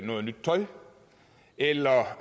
noget nyt tøj eller